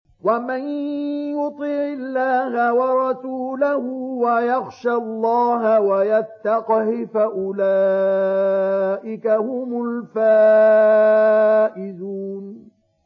وَمَن يُطِعِ اللَّهَ وَرَسُولَهُ وَيَخْشَ اللَّهَ وَيَتَّقْهِ فَأُولَٰئِكَ هُمُ الْفَائِزُونَ